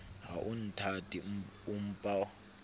ha o nthate o mpa